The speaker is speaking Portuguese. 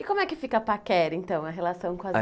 E como é que fica a paquera então, a relação com as